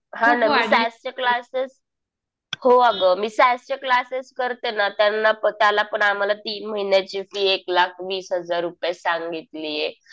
हा ना. मी सास चे क्लासेस. हो अगं. मी सास चे क्लासेस करते ना. त्यांना पण त्याला पण आम्हाला तीन महिन्याची फी एक लाख वीस हजार रुपये सांगितलीये.